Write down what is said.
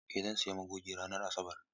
Eh zan sayi magogi ranar Asabar.